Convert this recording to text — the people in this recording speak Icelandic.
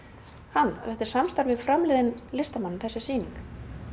hann þetta er samstarf við framliðinn listamann þessi sýning